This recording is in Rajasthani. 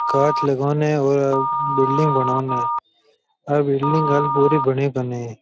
कांच लगवान और बिल्डिंग बनओन आ बिल्डिंग हाल पूरी बनी कोनी।